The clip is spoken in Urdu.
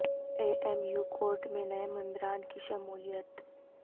اے ایم یو کورٹ میں نئے ممبران کی شمولیت